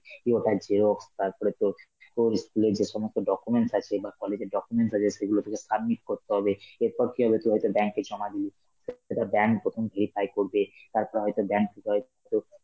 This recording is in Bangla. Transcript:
দিয়ে ওইটার xerox, তারপরে তোর~ তোর ই school এর যে সমস্ত documents আছে, বা college এর documents আছে সেগুলো তোকে submit করতে হবে, এরপর কি হবে তোর হয়তো bank জমা দেবি, সেটা bank প্রথম verify করবে, তারপরে হয়তো bank থেকে হয়তো